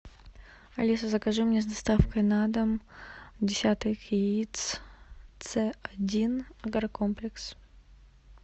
алиса закажи мне с доставкой на дом десяток яиц ц один агрокомплекс